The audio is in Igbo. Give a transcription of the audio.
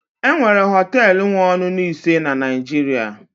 enwere họtelu wee ọṅụṅụ ise na Nigeria